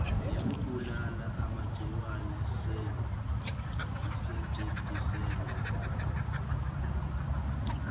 yekubulala emagciwane asetjentiselwa